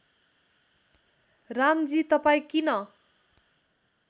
रामजी तपाईँ किन